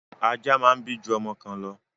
Ajá máa ń bí ju ọmọ kan lọ.